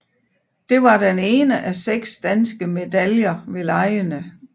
Det var den ene af seks danske medaljer ved legene